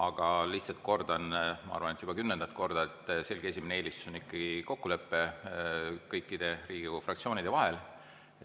Aga ma lihtsalt kordan – ma arvan, et juba kümnendat korda –, et selgelt esimene eelistus on ikkagi kokkulepe kõikide Riigikogu fraktsioonide vahel.